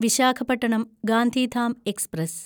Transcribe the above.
Visakhapatnam Gandhidham express